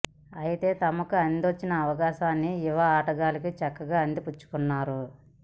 అయితే తమకు అందివచ్చిన అవకా శాన్ని యువ ఆటగాళ్లు చక్కగా అందిపుచ్చుకు న్నారు